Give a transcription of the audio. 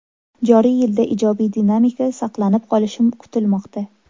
Joriy yilda ijobiy dinamika saqlanib qolishi kutilmoqda.